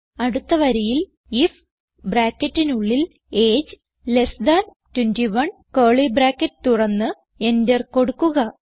അടുത്ത വരിയിൽ ഐഎഫ് ബ്രാക്കറ്റിനുള്ളിൽ എജിഇ 21 കർലി ബ്രാക്കറ്റ് തുറന്ന് എന്റർ കൊടുക്കുക